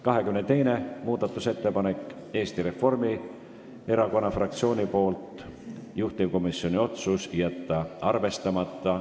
22. muudatusettepanek on Eesti Reformierakonna fraktsioonilt, juhtivkomisjoni otsus on jätta arvestamata.